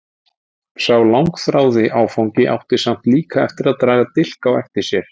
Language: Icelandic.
Sá langþráði áfangi átti samt líka eftir að draga dilk á eftir sér.